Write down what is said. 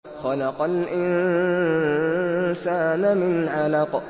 خَلَقَ الْإِنسَانَ مِنْ عَلَقٍ